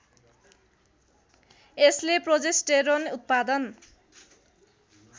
यसले प्रोजेस्टेरोन उत्पादन